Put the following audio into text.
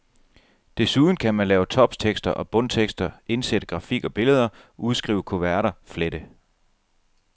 Desuden kan man lave toptekster og bundtekster, indsætte grafik og billeder, udskrive kuverter, flette.